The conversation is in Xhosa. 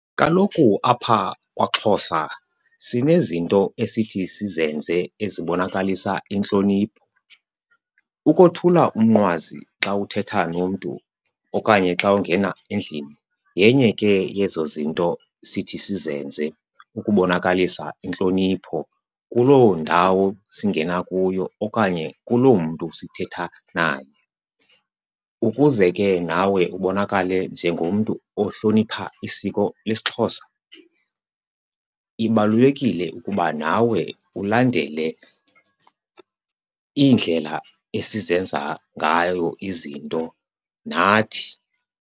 Kaloku apha kwaXhosa sinezinto esithi sizenze ezibonakalisa intlonipho. Ukothula umnqwazi xa uthetha nomntu okanye xa ungena endlini yenye ke yezo zinto sithi sizenze ukubonakalisa intlonipho kuloo ndawo singena kuyo okanye kuloo mntu sithetha naye. Ukuze ke nawe ubonakale njengomntu ohlonipha isiko lesiXhosa, ibalulekile ukuba nawe ulandele iindlela esizenza ngayo izinto nathi.